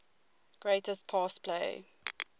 greatest pass play